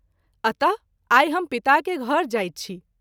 अत: आई हम पिता के घर जाइत छी।